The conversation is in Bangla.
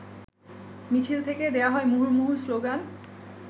মিছিল থেকে দেয়া হয় মুহুর্মুহু স্লোগান।